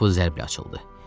Qapı zərblə açıldı.